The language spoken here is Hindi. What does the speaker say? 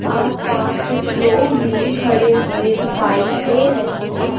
आस पास कुछ लोग भी खड़े हुए दिखाई दे रहे हैं।